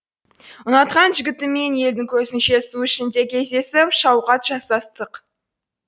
ұнатқан жігітіммен елдің көзінше су ішінде кездесіп шауқат жасастық